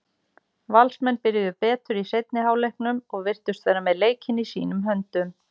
Valsmenn byrjuðu betur í seinni hálfleiknum og virtust vera með leikinn í sínum höndum.